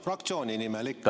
Fraktsiooni nimel ikka, jah.